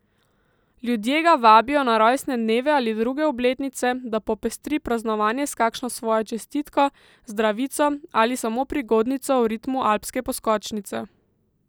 Ljudje ga vabijo na rojstne dneve ali druge obletnice, da popestri praznovanje s kakšno svojo čestitko, zdravico ali samo prigodnico v ritmu alpske poskočnice.